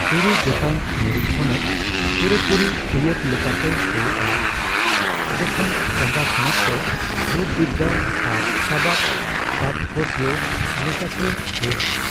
ᱛᱩᱨᱩᱭ ᱜᱚᱴᱟᱝ ᱢᱩᱲᱩᱫ ᱛᱷᱚᱱᱚᱛ ᱯᱩᱨᱟᱹᱯᱩᱨᱤ ᱟᱹᱭᱟᱹᱛ ᱞᱮᱠᱟᱛᱮ ᱦᱳᱭᱳᱜᱼᱟ, ᱡᱚᱠᱷᱚᱱ ᱪᱟᱸᱜᱟᱼᱛᱷᱚᱱᱚᱛ ᱠᱚ ᱨᱩᱯᱵᱤᱫᱽᱫᱟ ᱟᱨ ᱥᱟᱵᱟᱫᱽ ᱛᱟᱛᱯᱚᱡᱚ ᱞᱮᱠᱟᱛᱮ ᱦᱳᱭᱳᱜᱼᱟ ᱾